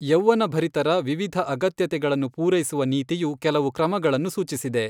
ಯೌವ್ವನಭರಿತರ ವಿವಿಧ ಅಗತ್ಯತೆಗಳನ್ನು ಪೂರೈಸುವ ನೀತಿಯು ಕೆಲವು ಕ್ರಮಗಳನ್ನು ಸೂಚಿಸಿದೆ.